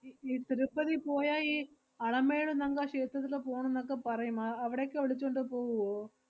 E~ ഈ തിരുപ്പതി പോയാ, ഈ അളമേളു നങ്ക ക്ഷേത്രത്തില് പോണന്നക്കെ പറയും. അഹ് അവടെക്കെ വിളിച്ചോണ്ട് പോവുവോ?